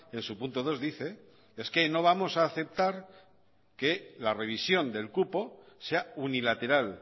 en su punto dos dice es que no vamos a aceptar que la revisión del cupo sea unilateral